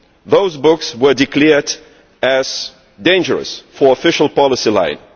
Those books were declared dangerous to the official policy line.